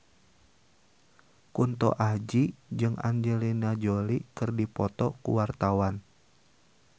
Kunto Aji jeung Angelina Jolie keur dipoto ku wartawan